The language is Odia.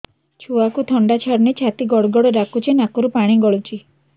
ଛୁଆକୁ ଥଣ୍ଡା ଛାଡୁନି ଛାତି ଗଡ୍ ଗଡ୍ ଡାକୁଚି ନାକରୁ ପାଣି ଗଳୁଚି